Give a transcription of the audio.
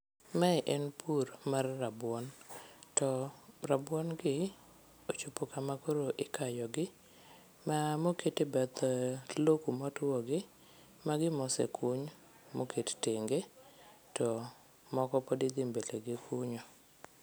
Mae en pur mar rabuon to rabuongi ochopo kama koro ikayogi ma mokete bath lo kumotwoni magi mosekuny moket tenge to moko pod idhi mbele gi kunyo.